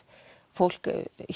fólk